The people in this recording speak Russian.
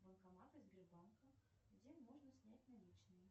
банкоматы сбербанка где можно снять наличные